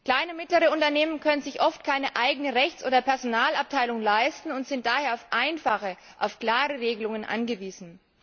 Kleine und mittlere Unternehmen können sich oft keine eigene Rechts oder Personalabteilung leisten und sind daher auf einfache und klare Regelungen angewiesen.